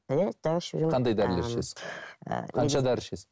иә дәрі ішіп жүрмін қандай дәрілер ішесің қанша дәрі ішесің